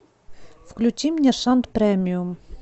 включи мне шант премиум